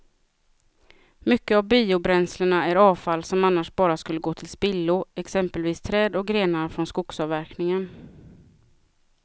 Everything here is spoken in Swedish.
Mycket av biobränslena är avfall som annars bara skulle gå till spillo, exempelvis träd och grenar från skogsavverkningen.